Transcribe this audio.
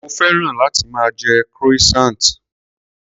Mo féràn láti máa jẹ croissant.